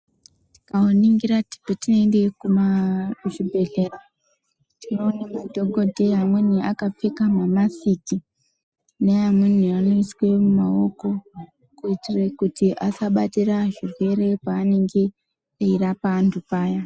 Tikaningira patinoende kuzvibhedhlera tinoone madhokodheya amweni akapfeka mamasiki neamwe anoiswe mumaoko kuitire kuti asabatire zvirwere paanenge echirapa antu paya.